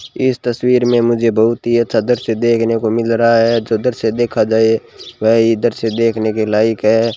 इस तस्वीर मे मुझे बहुत ही अच्छा दृश्य देखने को मिल रहा है जो दृश्य देखा जाये वह इधर से देखने के लायक है।